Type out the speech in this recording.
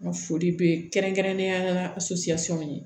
N ka foli bɛ kɛrɛnkɛrɛnnenya la ye